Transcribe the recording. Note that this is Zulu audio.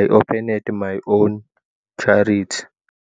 "I Opened My Own Charity!"